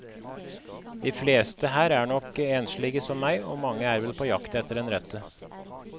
De fleste her er nok enslige som meg, og mange er vel på jakt etter den rette.